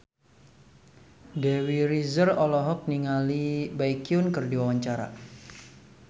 Dewi Rezer olohok ningali Baekhyun keur diwawancara